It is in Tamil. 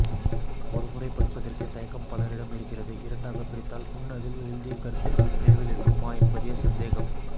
ஒரு முறைப் படிப்பதற்கே தயக்கம் பலரிடம் இருக்கிறது இரண்டாகப் பிரித்தால் முன்னதில் எழுதிய கருத்துகள் நினைவில் இருக்குமா என்பதே சந்தேகம்